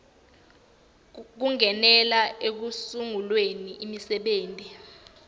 kungenela ekusunguleni imisebenti